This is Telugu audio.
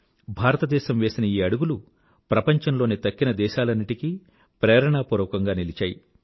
భారతదేశం వేసిన ఈ అడుగులు ప్రపంచంలోని తక్కిన దేశాలన్నింటికీ ప్రేరణాపూర్వకంగా నిలిచాయి